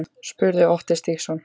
spurði Otti Stígsson.